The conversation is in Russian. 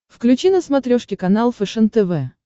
включи на смотрешке канал фэшен тв